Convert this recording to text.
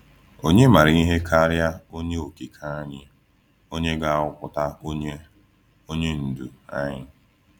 Ònye maara ihe karịa Onye Okike anyị onye ga-ahọpụta onye onye ndu anyị?